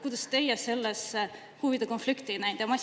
Kuidas teie selles huvide konflikti ei näinud?